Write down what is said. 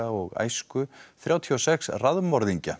og æsku þrjátíu og sex